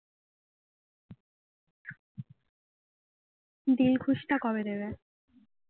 দিলখুশটা কবে দেবে